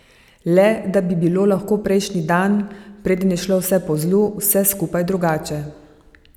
Le da bi bilo lahko prejšnji dan, preden je šlo vse po zlu, vse skupaj drugače.